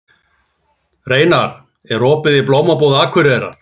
Reynar, er opið í Blómabúð Akureyrar?